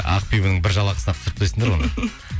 ақбибінің бір жалақысына ақ түсіріп тастайсыңдар оны